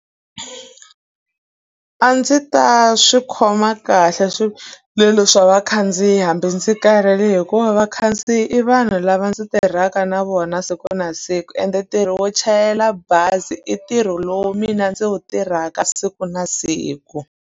A ndzi ta swi khoma kahle swivilelo swa vakhandziyi hambi ndzi karhele hikuva vakhandziyi i vanhu lava ndzi tirhaka na vona siku na siku ende ntirho wo chayela bazi i ntirho lowu mina ndzi wu tirhaka siku na siku.